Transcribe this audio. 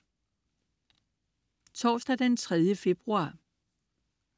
Torsdag den 3. februar